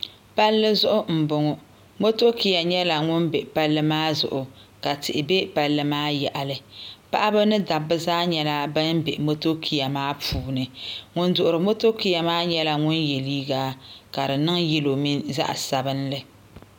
palli zuɣu mboŋɔ motokiya nyɛla ŋun be palli maa zuɣu ka tihi be palli maa yaɣali paɣaba mini dabba zaa nyɛla ban be motokiya maa puuni ŋun duhiri motokiya maa yela liiga ka di niŋ yelo mini zaɣa sabinli